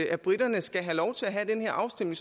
at briterne skal have lov til at have den her afstemning